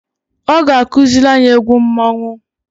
Ọ ga akụzịlị anyị egwu mmonwu.